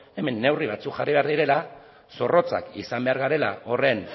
hemen neurri batzuk jarri behar direla zorrotzak izan behar garela horren